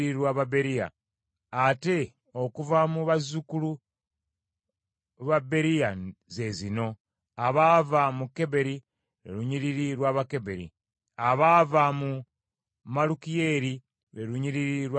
Ate okuva mu bazzukulu ba Beriya, ze zino: abaava mu Keberi, lwe lunyiriri lw’Abakeberi; abaava mu Malukiyeeri, lwe lunyiriri lw’Abamalukiyeeri.